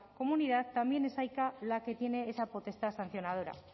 comunidad también es aica la que tiene esa potestad sancionadora